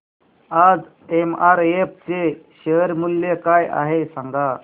आज एमआरएफ चे शेअर मूल्य काय आहे सांगा